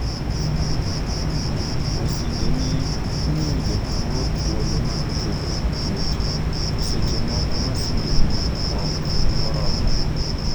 Masinde ni miyo jatuwo thuolo mar kedo gi tuoche, to seche moko masinde ni ok oromo.